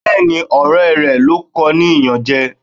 Bẹẹni, ọrẹ rẹ ló kọ ní iyanje.